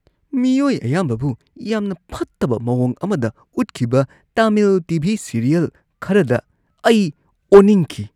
ꯃꯤꯑꯣꯏ ꯑꯌꯥꯝꯕꯕꯨ ꯌꯥꯝꯅ ꯐꯠꯇꯕ ꯃꯥꯋꯣꯡ ꯑꯃꯗ ꯎꯠꯈꯤꯕ ꯇꯥꯃꯤꯜ ꯇꯤ. ꯚꯤ. ꯁꯤꯔꯤꯌꯦꯜ ꯈꯔꯗ ꯑꯩ ꯑꯣꯅꯤꯡꯈꯤ ꯫